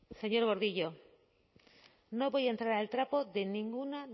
señor gordillo no voy a entrar al trapo de ninguna